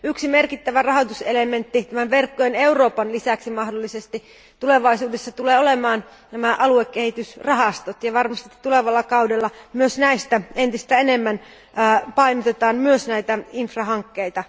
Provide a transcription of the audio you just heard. Yksi merkittävä rahoituselementti tämän verkkojen Euroopan lisäksi tulee mahdollisesti tulevaisuudessa olemaan aluekehitysrahastot, ja varmasti tulevalla kaudella myös niissä entistä enemmän painotetaan näitä infrastruktuurihankkeita.